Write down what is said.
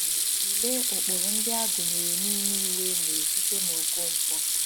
Tụlee ụkpụrụ ndị a gụnyere n'ime Iwu enyere site na Okonkwo: